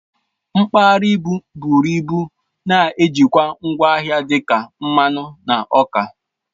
Mpaghara ibu bụrụ ịbụ na-ejikwa ngwa ahịa dị ka mmanụ na ọka